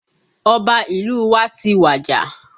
Ọba ìlú wa ti wàjà